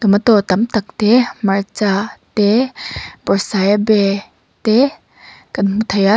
tomato tam tak te hmarcha te bawrhsaiabe te kan hmu thei a.